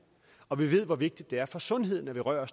og vi ved hvor vigtigt det er for sundheden at røre